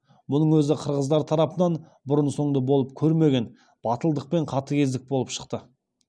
мұның өзі қырғыздар тарапынан бұрын соңды болып көрмеген батылдық пен қатыгездік болып шықты